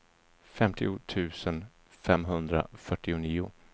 femtio tusen femhundrafyrtionio